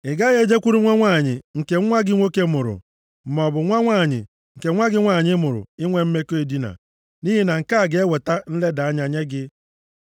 “ ‘Ị gaghị e jekwuru nwa nwanyị nke nwa gị nwoke mụrụ, maọbụ nwa nwanyị nke nwa gị nwanyị mụrụ i nwe mmekọ edina; nʼihi na nke a ga-eweta nleda anya nye gị.